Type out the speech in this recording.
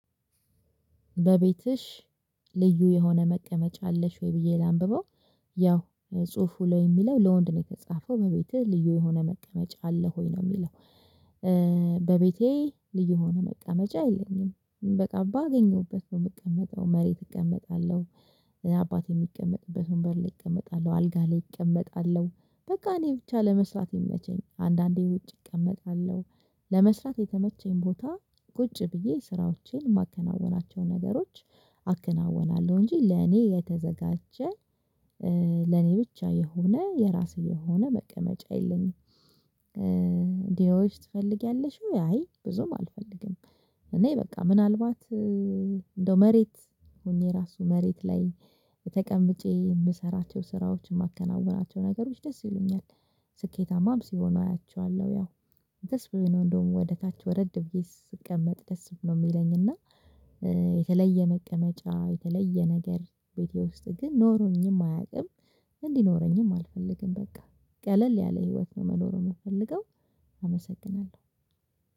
በቤትሽ ልዩ የሆነ መቀመጫ አለሽ ወይ ብዬ ላንብበው? ያው ጽሁፉ ላይ የሚለው ለወንድ ነው የተጻፈው በቤቴ ልዩ የሆነ መቀመጫ አለ ሆይ ነው የሚለው። በቤቴ ልዩ የሆነ መቀመጫ የለኝም በቃ ባገኘሁበት ነው የምቀመጠው መሬት እቀመጣለሁ። አባቴ የሚቀመጥበት ወንበር ላይ እቀመጣለሁ አልጋ ላይ እቀመጣለሁ። በቃ እኔ ብቻ ለመስራት የምመቸኝ አንዳንዴ ውጭ እቀመጣለሁ። ለመስራት የተመቸኝ ቦታ ቁጭ ብዬ ስራዎቼን የማከናውናቸው ነገሮች አከናውናለሁ እንጂ ለኔ የተዘጋጀ ለኔ ብቻ የሆነ የራሴ የሆነ መቀመጫ የለኝም። ዲዮሽ ትፈልጊያለሽው? አይ ብዙም አልፈልግም። እኔ በቃ ምናልባት እንደው መሬት ሆኜ ራሱ መሬት ላይ ተቀምጬ የምሰራቸው ስራዎችን የማከናውናቸው ነገሮች ደስ ይሉኛል። ስኬታማም ሲሆን አያቸዋለሁ ያው የትስ ብሆን እንደውም ወደ ታች ወረድ ብዬ ስቀመጥ ደስ ይለኛል የሚለኝ እና። የተለየ መቀመጫ የተለየ ነገር ቤቴ ውስጥ ግን ኖሮኝም አያውቅም። እንዲኖረኝም አልፈልግም በቃ ቀለል ያለ ህይወት መኖሩን የምፈልገው። አመሰግናለሁ።